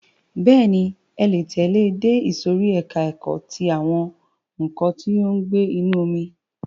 Bẹ́ẹ̀ni, ẹ le tẹ̀lẹ́ ẹ dé ìsòrí ẹka ẹ̀kọ́ ti àwọn nǹkan tí ó ń gbé inú omi.